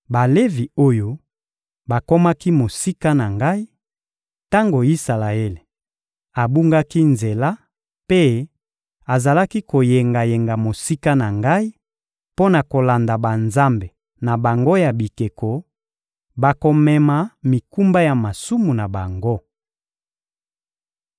Balevi oyo bakomaki mosika na Ngai, tango Isalaele abungaki nzela mpe azalaki koyengayenga mosika na Ngai mpo na kolanda banzambe na bango ya bikeko, bakomema mikumba ya masumu na bango.